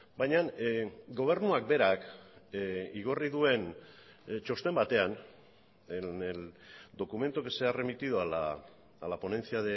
baina gobernuak berak igorri duen txosten batean en el documento que se ha remitido a la ponencia